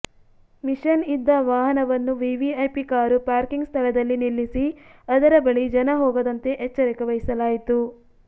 mission ಇದ್ದ ವಾಹನವನ್ನು VVIP car parking ಸ್ಥಳದಲ್ಲಿ ನಿಲ್ಲಿಸಿ ಅದರ ಬಳಿ ಜನ ಹೋಗದಂತೆ ಎಚ್ಚರಿಕೆ ವಹಿಸಲಾಯಿತು